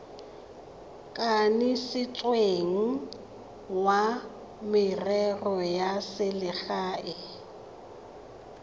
kanisitsweng wa merero ya selegae